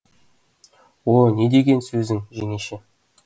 о не деген сөзің жеңеше